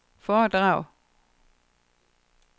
foredrag